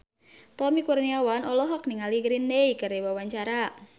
Tommy Kurniawan olohok ningali Green Day keur diwawancara